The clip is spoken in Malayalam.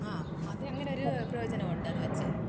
ആ അതിന് അങ്ങനെ ഒരു പ്രയോജനം ഉണ്ട് അത് വെച്ച്.